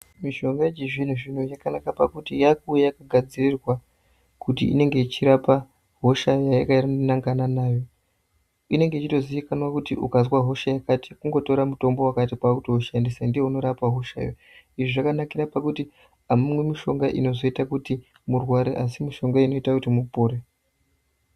Mishonga yechizvino zvino yakanaka pakuti yakuuya kugadzirwa kuti inenge ichirapa hosha yakanangana nayo inenge ichitozikanwa kuti ukazwa hosha yakati kungotora mutombo wakati kwakutoushandisa ndounorapa hosha yo izvi zvakanakira pakuti amumwi mushonga inoita kuti murware asi mushonga inoita kuti mupore.